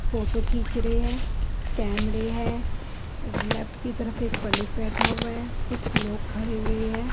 Photo खींच रहे हैं कैमरे हैं लेफ्ट की तरफ एक पंडित बैठा हुआ है कुछ लोग खड़े हुए हैं।